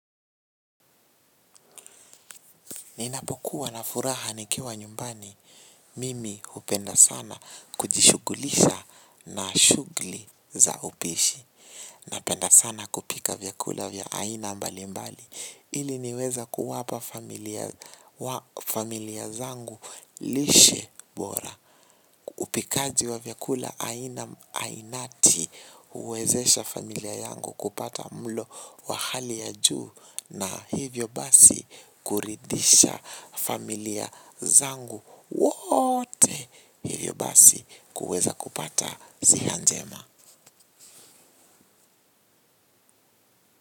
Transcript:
Ninapokuwa na furaha nikiwa nyumbani, mimi hupenda sana kujishughulisha na shughuli za upishi. Napenda sana kupika vyakula vya aina mbali mbali, ili niweza kuwapa familia zangu lishe bora. Upikaji wa vyakula aina ainati huwezesha familia yangu kupata mlo wa hali ya juu na hivyo basi kuridhisha familia zangu wote hivyo basi kuweza kupata ziha njema.